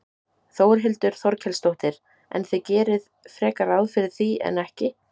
Þórhildur Þorkelsdóttir: En þið gerið frekar ráð fyrir því en ekki?